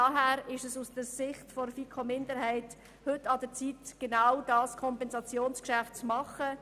Daher ist es aus Sicht der FiKo-Minderheit heute an der Zeit, genau dieses Kompensationsgeschäft zu machen.